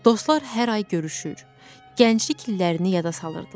Dostlar hər ay görüşür, gənclik illərini yada salırdılar.